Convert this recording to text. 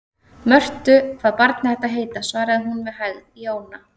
Mörtu hvað barnið ætti að heita, svaraði hún með hægð: Jóna.